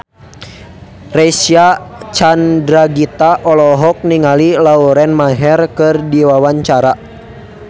Reysa Chandragitta olohok ningali Lauren Maher keur diwawancara